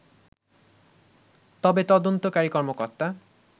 তবে তদন্তকারী কর্মকর্তা